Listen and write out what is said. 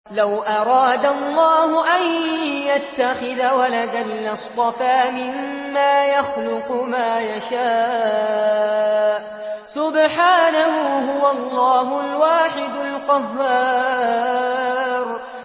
لَّوْ أَرَادَ اللَّهُ أَن يَتَّخِذَ وَلَدًا لَّاصْطَفَىٰ مِمَّا يَخْلُقُ مَا يَشَاءُ ۚ سُبْحَانَهُ ۖ هُوَ اللَّهُ الْوَاحِدُ الْقَهَّارُ